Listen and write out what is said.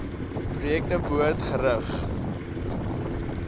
projekte behoort gerig